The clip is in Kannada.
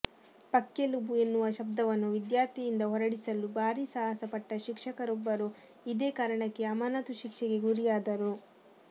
ಪಕ್ಕೆಲುಬು ಎನ್ನುವ ಶಬ್ದವನ್ನು ವಿದ್ಯಾರ್ಥಿಯಿಂದ ಹೊರಡಿಸಲು ಭಾರಿ ಸಾಹಸ ಪಟ್ಟ ಶಿಕ್ಷಕರೊಬ್ಬರು ಇದೇ ಕಾರಣಕ್ಕೆ ಅಮಾನತು ಶಿಕ್ಷೆಗೆ ಗುರಿಯಾದರು